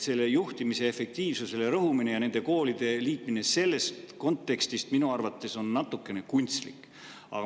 Juhtimise efektiivsusele rõhumine ja nende koolide liitmine sellest kontekstist lähtudes on minu arvates natuke kunstlik.